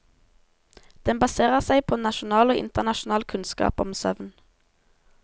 Den baserer seg på nasjonal og internasjonal kunnskap om søvn.